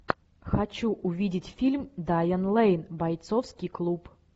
хочу увидеть фильм дайан лейн бойцовский клуб